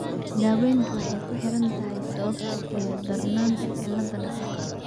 Daaweyntu waxay ku xiran tahay sababta iyo darnaanta cilladda dhaqdhaqaaqa.